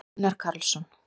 gunnar karlsson